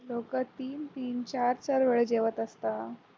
लोकं तीन-तीन चार-चार वेळेस जेवत असतात.